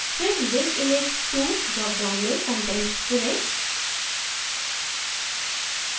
फिर link image to dropdown में content चुनें